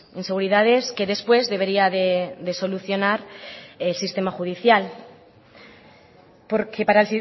inseguridades que después debería de solucionar el sistema judicial porque para